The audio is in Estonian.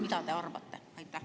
Mida te arvate?